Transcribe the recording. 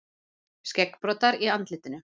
Skeggbroddar í andlitinu.